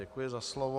Děkuji za slovo.